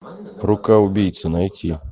рука убийцы найти